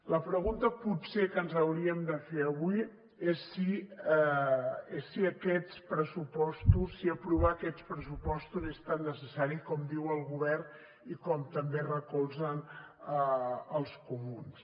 la pregunta potser que ens hauríem de fer avui és si aquests pressupostos si aprovar aquests pressupostos és tan necessari com diu el govern i com també recolzen els comuns